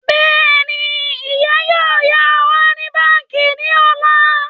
Bẹ́ẹ̀ni, ìyá yóò yá owó ní báńkì ní ọ̀la